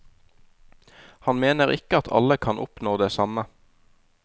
Han mener ikke at alle kan oppnå det samme.